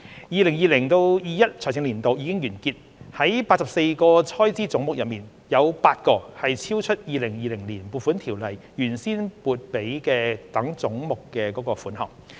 " 2020-2021 財政年度已經完結，在84個開支總目中，有8個超出《2020年撥款條例》原先撥給該等總目的款項。